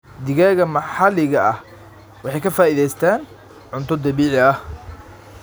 Digaagga maxalliga ah waxay ka faa'iidaystaan ??cunto dabiici ah.